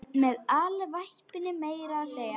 Með alvæpni meira að segja!